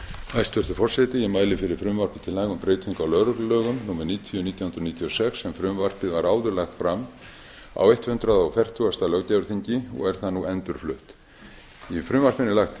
forseti ég mæli fyrir frumvarpi til laga um breytingu á lögreglulögum númer níutíu nítján hundruð níutíu og sex en frumvarpið var áður lagt fram á hundrað fertugasta löggjafarþingi og er það nú endurflutt í frumvarpinu er lagt